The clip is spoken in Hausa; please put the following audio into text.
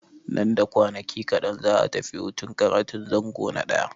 Nan da kwanaki kaɗan za'a tafi hutun karatun zango na ɗaya.